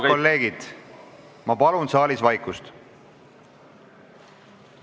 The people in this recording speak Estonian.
Head kolleegid, ma palun saalis vaikust!